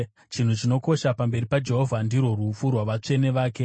Chinhu chinokosha pamberi paJehovha ndirwo rufu rwavatsvene vake.